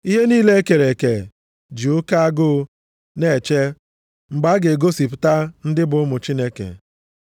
Ihe niile e kere eke ji oke agụụ na-eche mgbe a ga-egosipụta ndị bụ ụmụ Chineke.